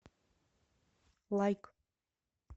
лайк